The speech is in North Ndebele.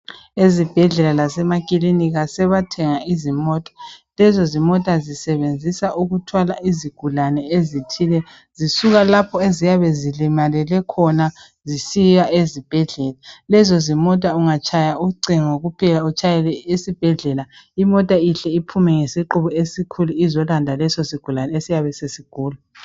Ezibhedlela lase makilinika sebathenga izimota. Lezo zimota zisebenziswa ukuthwala izigulane ezithile zisuka lapho eziyabe zilimalele khona zisiya ezibhedlela. Lezo zimota ungatshaya ucingo kuphela utshayele isibhedlela imota ihle itshaye ngesiqubu esikhulu esiyolanda leso sigulane esiyabe sigula.